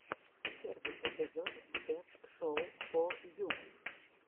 первый эпизод джефф шоу фо ю